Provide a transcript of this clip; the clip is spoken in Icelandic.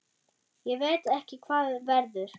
Ég veit ekki hvað verður.